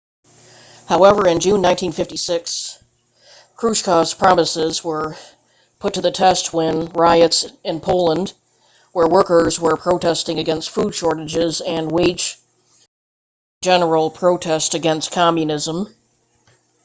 however in june 1956 krushchev's promises were put to the test when riots in poland where workers were protesting against food shortages and wage cuts turned into a general protest against communism